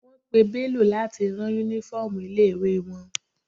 Wọ́n pè Bello láti rán uniform ilé ìwé wọn.